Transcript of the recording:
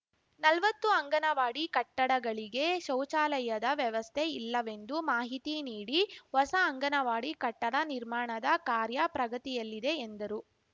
ನಲ್ವತ್ತು ಅಂಗನವಾಡಿ ಕಟ್ಟಡಗಳಿಗೆ ಶೌಚಾಲಯದ ವ್ಯವಸ್ಥೆ ಇಲ್ಲವೆಂದು ಮಾಹಿತಿ ನೀಡಿ ಹೊಸ ಅಂಗನವಾಡಿ ಕಟ್ಟಡ ನಿರ್ಮಾಣದ ಕಾರ್ಯ ಪ್ರಗತಿಯಲ್ಲಿದೆ ಎಂದರು